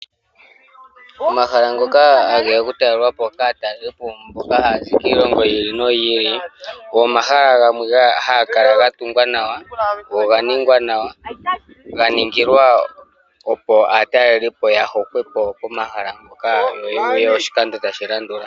Omahala ngoka hageya oku talelwapo kaatalelipo mboka haya zi kiilongo yi ili noyi ili ogo omahala gamwe haga kala ga tungwa nawa go oga ningwa nawa ga ningilwa opo aatalelipo ya hokwepo po mahala mpoka yo ya galuke oshikando tashi landula.